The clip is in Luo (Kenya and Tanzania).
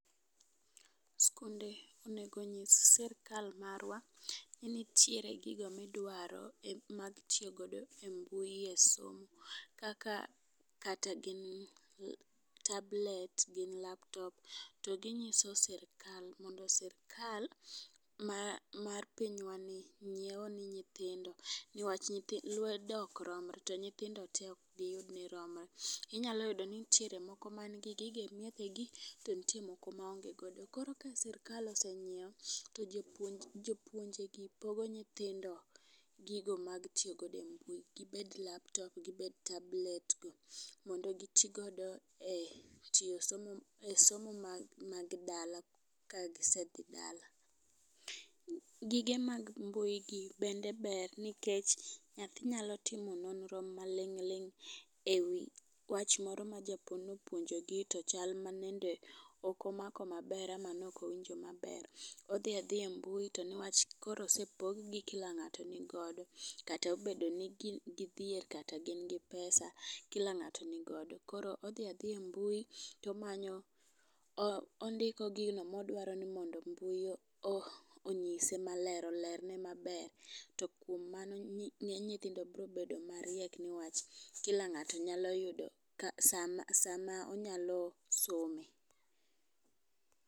Skunde onego nyis sirikal marwa ni nitiere gigo midwaro miitiyo godo e mbui e somo kaka kate gin tablet gin laptop. To ginyiso sirikal mondo sirikal ma mar pinywa ni nyiewo ne nyithindo newach lwedo ok rom to nyithndo te ok diyud ni romre inyalo yudo ni nigi gigi e miechege. Koro ka sirikal osenyiewo to jopo jopuonje gi pogo nyithindo gigo mag tiyo godo e mbui gibed laptop gibed tablet go mondo gitii godo e tiyo e somo mag mag dala kagisedhi dala . Gige mag mbui gi bende ber nikech nyathi nyalo timo nonro malingling' ewi wach moro ma japuonj nopuonjo gi to chal manende ok omako maber ama nokowinjo maber. Odhi adhiya e mbui to newach koro osepog gi kila ng'ato nigodo, katobedo ni gidhier kata gin gi pesa kila ngato nigodo koro odhi adhiya e mbui tomanyo, o ondiko gino modwani mbui onyise maler olerne maber. To kuom mano nyi nyithindo bro bedo mariek newach kila ngato nyayudo sama onyalo some.